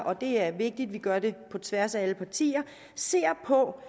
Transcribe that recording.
og det er vigtigt at vi gør det på tværs af alle partier ser på